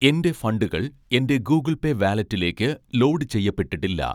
എൻ്റെ ഫണ്ടുകൾ എൻ്റെ ഗൂഗിൾ പേ വാലെറ്റിലേക്ക് ലോഡ് ചെയ്യപ്പെട്ടിട്ടില്ല?